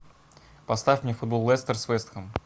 поставь мне футбол лестер с вест хэм